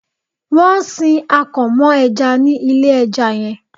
Wọn ń sin akàn mọ́ ẹja ní ilé ẹja yẹn.